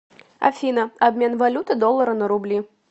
афина обмен валюты доллары на рубли